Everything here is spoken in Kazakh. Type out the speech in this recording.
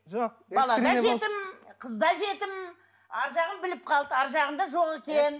жоқ бала да жетім қыз да жетім арғы жағын біліп қалды арғы жағында жоқ екен